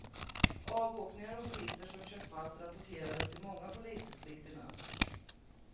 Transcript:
Avåkningar och bilister som kört fast rapporterades i många polisdistrikt i natt.